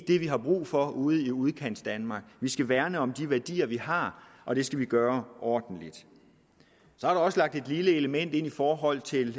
det vi har brug for ude i udkantsdanmark vi skal værne om de værdier vi har og det skal vi gøre ordentligt så er der også lagt et lille element ind i forhold til